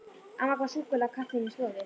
Amma gaf súkkulaði og kaffi inni í stofu.